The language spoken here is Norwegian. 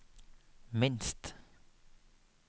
minst